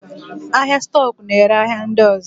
Ahịa stọk na-ere ahịa ndị ọzọ.